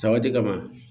Sawati kama